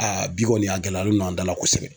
Aa bi kɔni a gɛlɛyalen don an dala kosɛbɛ.